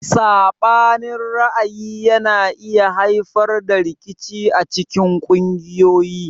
Sabanin ra'ayi yana iya haifar da rikici acikin kungiyoyi.